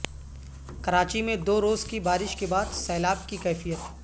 کراچی میں دو روز کی بارش کے بعد سیلاب کی کیفیت